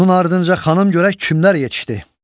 Bunun ardınca xanım, görək kimlər yetişdi.